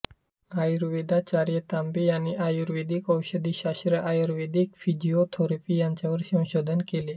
आयुर्वेदाचार्य तांबे यांनी आयुर्वेदिक औषधी शास्त्र आणि आयुर्वेदिक फिजिओथेरपी यांवर संशोधन केले